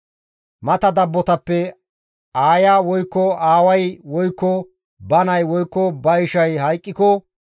Mata dabbotappe aaya woykko aaway woykko ba nay woykko ba ishay hayqqiko,